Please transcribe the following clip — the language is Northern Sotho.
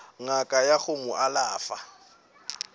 ngaka ya go mo alafa